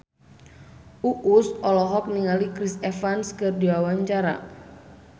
Uus olohok ningali Chris Evans keur diwawancara